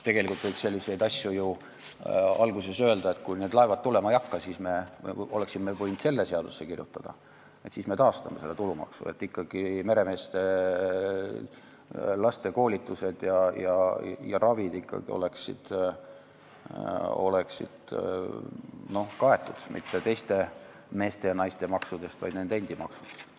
Tegelikult võiks kohe alguses öelda, et juhuks, kui need laevad tulema ei hakka, me kirjutame seadusse sisse, et siis me taastame meremeeste tulumaksu ja nende laste koolitused ja ravid ei hakka olema kaetud teiste meeste ja naiste maksudega, vaid nende endi maksudega.